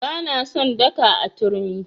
Ba na son daka a turmi.